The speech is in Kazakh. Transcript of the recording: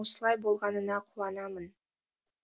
осылай болғанына қуанамын